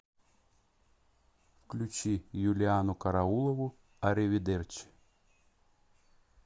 включи юлианну караулову ариведерчи